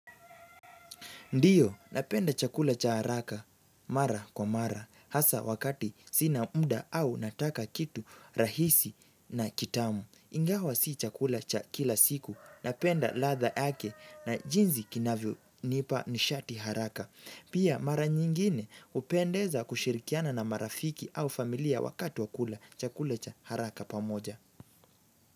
Ndiyo, napenda chakula cha haraka, mara kwa mara, hasa wakati sina muda au nataka kitu rahisi na kitamu. Ingawa si chakula cha kila siku, napenda ladha yake na jinsi kinavyonipa nishati haraka. Pia mara nyingine hupendeza kushirikiana na marafiki au familia wakati wa kula chakula cha haraka pamoja.